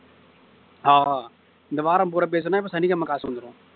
ஆஹ் இந்த வாரம் பூரா பேசினா இப்ப சனிக்கிழமை காசு வந்துரும்